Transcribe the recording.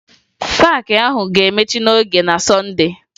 Paakị ahụ ga-emechi n'oge na Sọnde